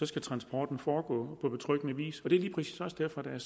skal transporten foregå på betryggende vis og det er lige præcis også derfor der er